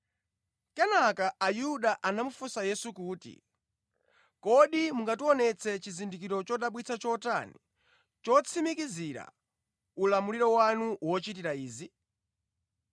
Kenaka Ayuda anamufunsa Yesu kuti, “Kodi mungationetse chizindikiro chodabwitsa chotani chotsimikizira ulamuliro wanu wochitira izi?”